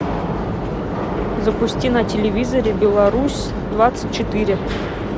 запусти на телевизоре беларусь двадцать четыре